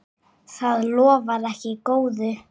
Það lofar ekki góðu.